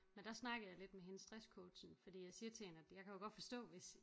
Men der snakkede jeg lidt med hende stresscoachen fordi jeg siger til hende at jeg kan jo godt forstå hvis